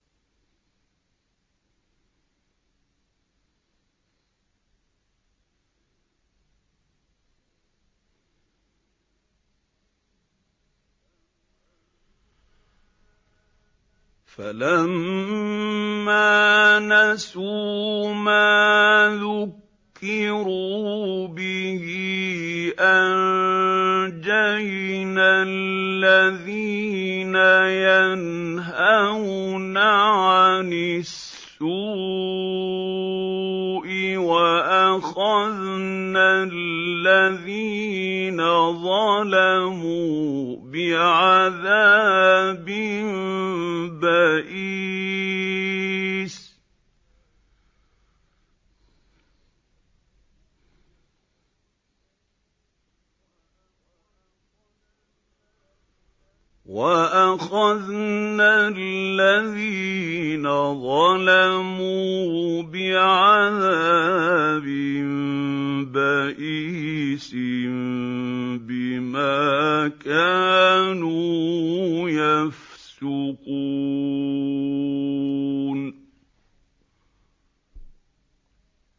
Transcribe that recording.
فَلَمَّا نَسُوا مَا ذُكِّرُوا بِهِ أَنجَيْنَا الَّذِينَ يَنْهَوْنَ عَنِ السُّوءِ وَأَخَذْنَا الَّذِينَ ظَلَمُوا بِعَذَابٍ بَئِيسٍ بِمَا كَانُوا يَفْسُقُونَ